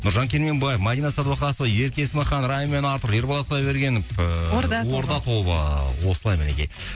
нұржан керменбаев мадина садуақасова ерке есмахан райм артур ерболат құдайбергенов ііі орда орда тобы осылай мінекей